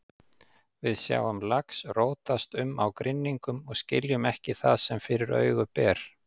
Við sjáum lax rótast um á grynningum og skiljum ekki það sem fyrir augu ber.